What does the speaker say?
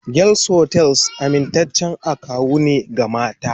Girls hostels amintaccen akawu ne ga mata